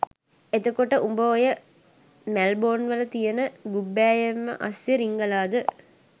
එතකොට උඹ ඔය මැල්බොන්වල තියෙන ගුබ්බෑයම් අස්සෙ රිංගලද